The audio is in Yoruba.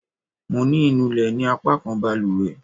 Mo ní inú lè ní apakan baluwe